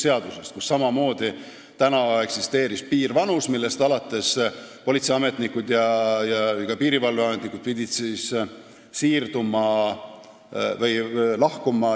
Seal eksisteerib samamoodi piirvanus, millest alates politseiametnikul ja ka piirivalveametnikul tuleb teenistusest lahkuda.